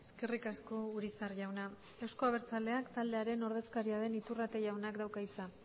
eskerrik asko urizar jauna euzko abertzaleak taldearen ordezkaria den iturrate jaunak dauka hitza